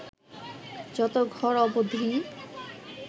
যত ঘর অবধিই